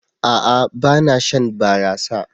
A'a! Ba na shan barasa.